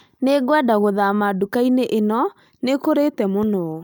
Nĩngwenda guthama ndukainĩ ĩno, nĩ ĩkũrite mũno